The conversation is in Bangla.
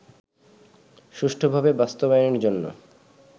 সুষ্ঠুভাবে বাস্তবায়নের জন্য